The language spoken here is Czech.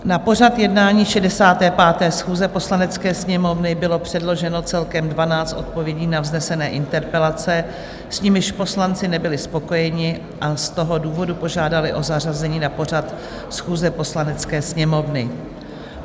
Na pořad jednání 65. schůze Poslanecké sněmovny bylo předloženo celkem 12 odpovědí na vznesené interpelace, s nimiž poslanci nebyli spokojeni, a z toho důvodu požádali o zařazení na pořad schůze Poslanecké sněmovny.